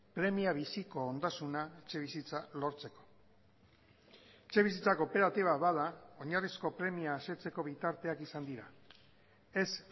premia biziko ondasuna etxebizitza lortzeko etxebizitza kooperatiba bada oinarrizko premia asetzeko bitarteak izan dira ez